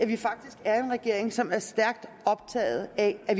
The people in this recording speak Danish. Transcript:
vi faktisk er en regering som er stærkt optaget af at